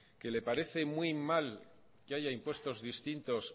que le parece muy mal que haya impuestos distintos